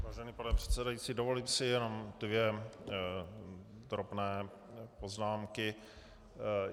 Vážený pane předsedající, dovolím si jenom dvě drobné poznámky.